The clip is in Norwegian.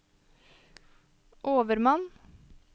overmann